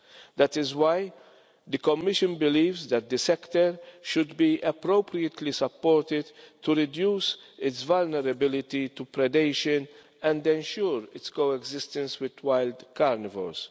That is why the Commission believes that the sector should be appropriately supported to reduce its vulnerability to predation and ensure its co existence with wild carnivores.